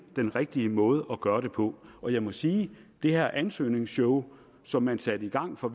den rigtige måde at gøre det på på jeg må sige at det her ansøgningsshow som man satte i gang fra